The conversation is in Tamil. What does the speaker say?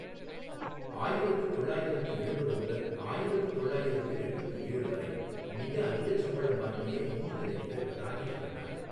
ஆயிரத்து தொள்ளாயிரத்து எழுபது முதல் ஆயிரத்து தொள்ளாயிரத்து எண்பத்து ஏழு வரை மிக அதிகச் சம்பளம் வாங்கிய இந்திய நடிகர் ராஜேஷ் கண்ணா.